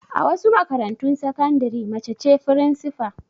A wasu makarantun sakandare mace ce firinsifa.